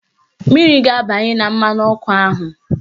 Mmiri ga-abanye na mmanụ ọkụ ahụ